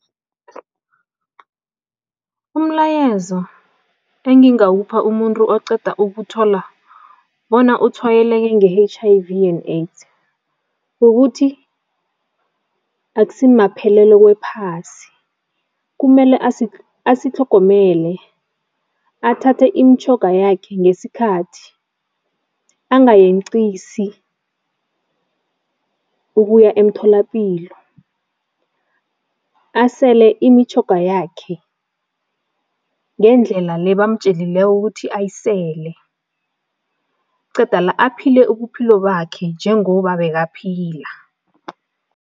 Umlayezo engingawupha umuntu oqeda ukuthola bona utshwayeleke nge-H_I_V and AIDS, kukuthi akusimaphelelo kwephasi, kumele asitlhogomele, athathe imitjhoga yakhe ngesikhathi, angayenqisi ukuya emtholapilo, asele imitjhoga yakhe ngendlela le bamatjelileko ukuthi ayisele qeda la aphile ubuphilo bakhe njengoba bekaphila.